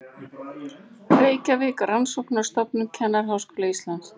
Reykjavík: Rannsóknarstofnun Kennaraháskóla Íslands.